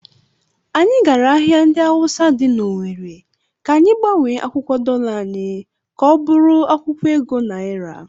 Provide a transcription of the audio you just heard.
Anyị gara ahịa ndị Awụsa dị n'Ọwere ka anyị gbanwee akwụkwọ dọla anyị ka ọ bụrụ akwụkwọ ego naira.